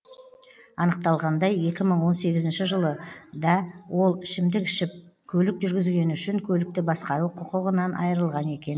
анықталғандай екі мың он сегізінші жылы да ол ішімдік ішіп көлік жүргізгені үшін көлікті басқару құқығынан айырылған екен